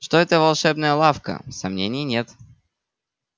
что это волшебная лавка сомнений нет